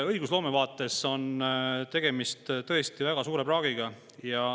Õigusloome vaates on tegemist tõesti väga suure praagiga.